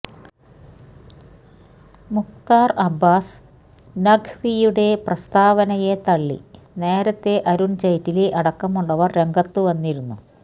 മുക്താർ അബ്ബാസ് നഖ്വിയുടെ പ്രസ്താവനയെ തള്ളി നേരത്തെ അരുൺ ജെയ്റ്റി അടക്കമുള്ളവർ രംഗത്തുവന്നിരുന്നു